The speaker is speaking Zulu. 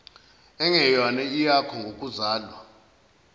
engeyona eyakho ngokuzalwa